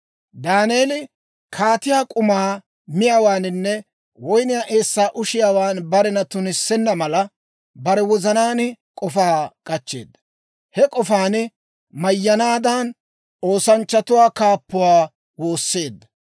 Daaneeli kaatiyaa k'umaa miyaawaaninne woyniyaa eessaa ushiyaawan barena tunissenna mala, bare wozanaan k'ofaa k'achcheedda; he k'ofaan mayyanaadan, oosanchchatuwaa kaappuwaa woosseedda.